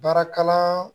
Baarakalan